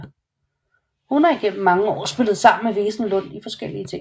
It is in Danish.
Hun har igennem mange år spillet sammen med Wesenlund i forskellige ting